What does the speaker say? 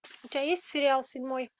у тебя есть сериал седьмой